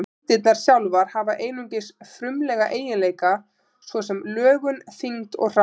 Eindirnar sjálfar hafa einungis frumlega eiginleika, svo sem lögun, þyngd og hraða.